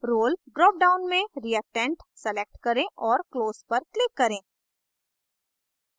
role drop down में reactant select करें और close पर click करें